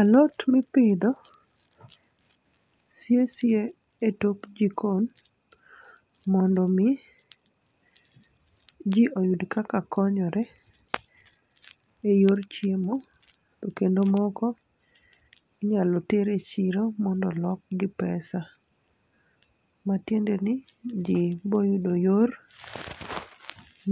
Alot mipidho siye siye e tok jikon mondo mi ji oyud kaka konyore e yor chiemo, to kendo moko inyalo ter e chiro mondo olk gi pesa. Matiende ni ji boyudo yor